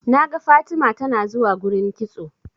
naga Fatima tanazuwa gurin kitso